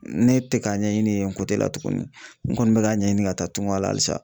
Ne tɛ k'a ɲɛɲini yen la tuguni n kɔni bɛ k'a ɲɛɲini ka taa tunga la halisa.